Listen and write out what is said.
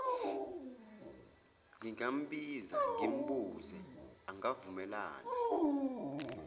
ngingambiza ngimbuze angavumelana